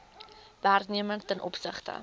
werknemer ten opsigte